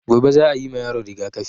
Gobe za a yima yaron rigaƙafi